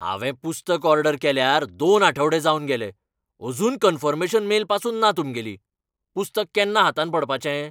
हावें पुस्तक ऑर्डर केल्यार दोन आठवडे जावन गेले, अजून कन्फर्मेशन मेल पासून ना तुमगेली. पुस्तक केन्ना हातांत पडपाचें?